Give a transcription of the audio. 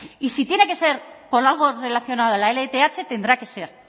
y si tiene que ser con algo relacionado a la lth tendrá que ser